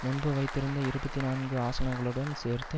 முன்பு வைத்திருந்த இருபத்தி நான்கு ஆசனங்களுடன் சேர்த்து